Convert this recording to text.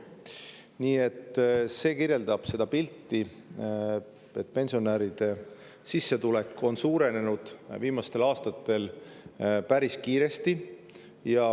Nii et see kirjeldab seda pilti, et pensionäride sissetulek on viimastel aastatel päris kiiresti suurenenud.